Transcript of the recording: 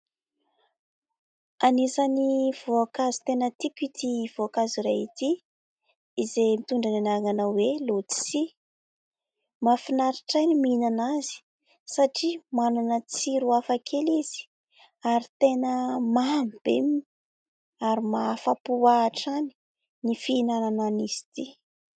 Anisan'ny voankazo tena tiako ity voankazo iray ity izay mitondra ny anarana hoe lotisia. Mahafinaritra ahy ny mihinana azy satria manana tsiro hafa kely izy ary tena mamy be ary maha-afapo ahy hatrany ny fihinanana an'izy ity.